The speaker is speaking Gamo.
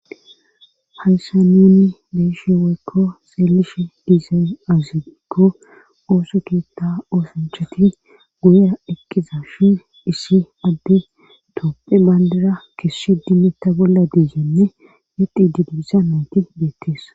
Hayssa nuni deishe weykko xeelishe diisey azibikko ooso keetta oosanchati guya ekkiza shi issi adde toopphe bandira kisshi dimetta bolla diizenne yeqi didibiza nayti deettees.